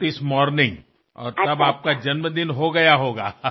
तोपर्यंत तुमचा वाढदिवस झालेला असेल